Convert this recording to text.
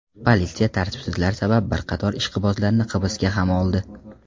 Politsiya tartibsizlar sabab bir qator ishqibozlarni hibsga ham oldi.